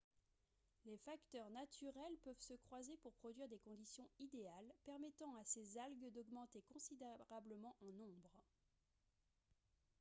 les facteurs naturels peuvent se croiser pour produire des conditions idéales permettant à ces algues d'augmenter considérablement en nombre